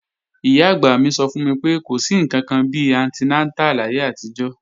Ìyá-àgbà mi sọ fún mi pé, kò sí ǹkankan bi antinátà láyé àtijọ́